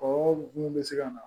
Ɔ mun bɛ se ka na